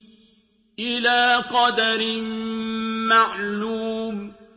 إِلَىٰ قَدَرٍ مَّعْلُومٍ